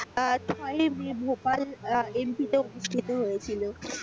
আহ ছয়ই মে Bhopal M P অনুষ্ঠিত হয়েছিল।